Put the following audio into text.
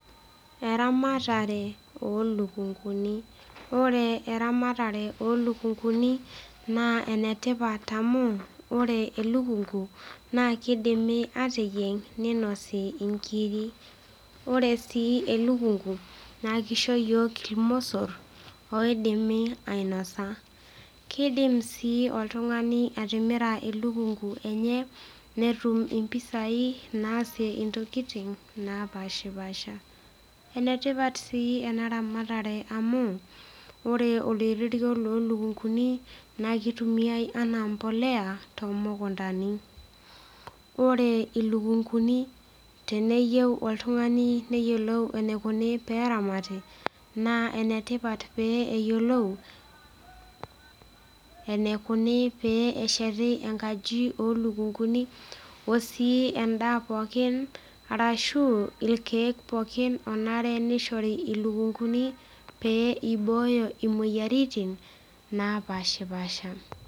Eramatare olukunguni ore eramatare olukunguni naa enetipat amu ore elukungu naa kidimi ateyieng ninosi inkiri ore sii elukungu naa kisho iyiok ilmosorr oidimi ainosa kidim sii oltung'ani atimira elukungu enye netum impisai naasie intokiting napashipasha enetipat sii ena ramatare amu ore oloirerio lolukunguni naa kitumiae anaa mpoleya tomukuntani ore ilukunguni teneyieu oltung'ani neyiolou enaikoni peramati naa enetipat pe eyiolou enaikuni pee esheti enkaji olukunguni osii endaa pookin arashu ilkeek pookin onare nishori ilukunguni pee ibooyo imoyioaritin napashipasha.